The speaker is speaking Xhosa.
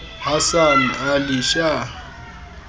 hasan ali shah